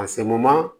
A sɛmumu